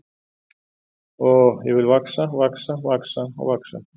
Oh, ég vil vaxa, vaxa, vaxa og vaxa.